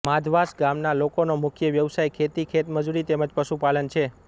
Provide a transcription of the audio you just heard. માધવાસ ગામના લોકોનો મુખ્ય વ્યવસાય ખેતી ખેતમજૂરી તેમ જ પશુપાલન છે